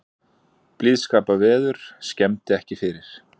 Blíðskaparveður skemmdi ekki fyrir